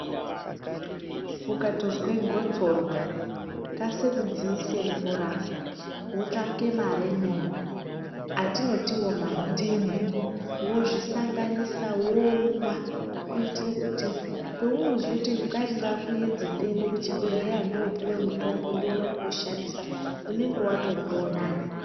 Ukatozwa gotsorwa kasira kudziise mvura wotsvake maremoni atinoti iwo mandimu wozvisanganisa womwa kuitira kuti paunozoti ngai ngakuedze ndiende kuchibhedhlera ndopuwa mutombo ndione kuushandisa unenge watomboo nane.